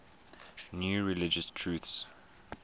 new religious truths